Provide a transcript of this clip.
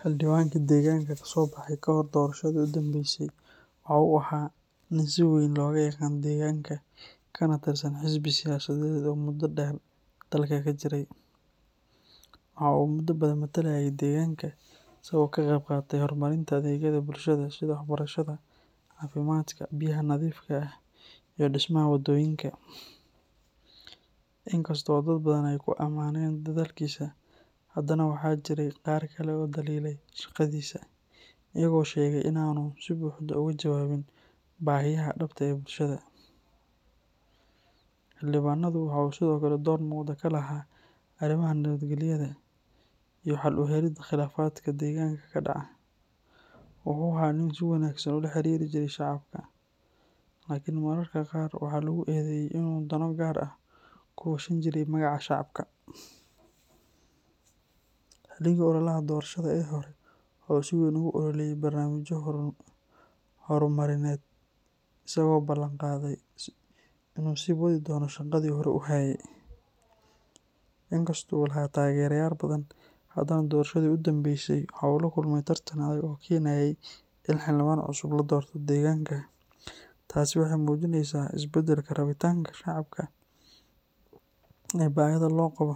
Xildhibaan deganka deegaanka ee ku soo baxay kahor doorashadii ugu dambeysay wuxuu ahaa nin si weyn looga yaqaanay deegaanka, isaga oo ka tirsan xisbi siyaasadeed oo muddo dheer dalka ka jiray. Wuxuu muddo dheer ka qeyb qaatay horumarinta adeegyada bulshada, sida waxbarashada, caafimaadka, biyaha nadiifka ah, iyo dhismaha waddooyinka. Inkastoo dad badan ay ku ammaaneen dadaalkiisa, haddana waxaa jiray dad qaar oo dhaliilay shaqadiisa, iyagoo sheegay in uu si buuxda ugu jawaabin baahiyaha dhabta ah ee bulshada. Xildhibaanku wuxuu sidoo kale door muhiim ah ka ciyaaray arrimaha nabadgelyada iyo xalinta khilaafaadka deegaanka. Wuxuu ahaa nin si wanaagsan u la xiriiri jiray shaqadiisa, laakiin mararka qaar waxaa la sheegay in uu danaha gaar ahaaneed ku weheshin jiray magaca bulshada Markii doorashada la soo gabo-gabeeyey, xildhibaanku wuxuu si weyn ugu olalaye barnaamijyo horumarineed, isagoo ballanqaaday in uu sii wadi doono shaqada bulshada. Inkastoo uu lahaa taageero badan, haddana doorashadii ugu dambeysay wuxuu la kulmay tartan adag, taasoo keentay in xal dhibban cusub la doorto deegaanka, taasi waxay muujineysaa isbeddelka rabitaanka shaqo iyo baahida loo qabo